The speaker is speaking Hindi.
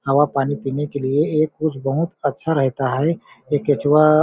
हवा पानी पीने के लिए ये कुछ बहुत अच्छा रहता है ये कचुवा--